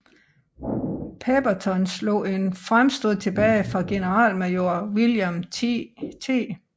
Pemberton slog et fremstød tilbage fra generalmajor William T